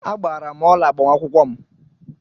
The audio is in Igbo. Agbaara m ọla agbamakwụkwọ m.